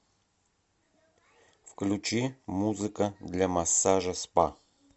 включи музыка для массажа спа